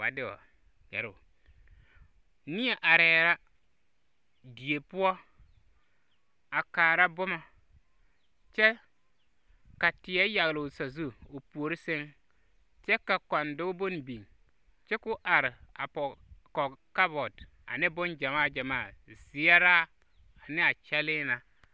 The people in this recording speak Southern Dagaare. Va de wԑ gԑroo. Neԑ arԑԑ la die poͻ a kaara boma kyԑ teԑ yageloo sazu o puori sԑŋ, kyԑ ka kͻndͻge bone biŋ kyԑ koo are a pͻge kͻge kabͻte ane boŋgyamaa gyamaa, zeԑraa ane a kyԑlee na.